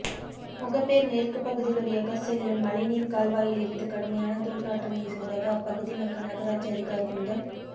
முகப்பேர் மேற்கு பகுதி வழியாக செல்லும் மழைநீர் கால்வாயில் இருந்து கடுமையான தூர்நாற்றம் வீசுவதாக அப்பகுதி மக்கள் நகராட்சி அதிகாரிகளிடம்